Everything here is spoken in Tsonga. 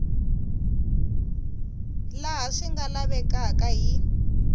laha swi nga lavekaka hi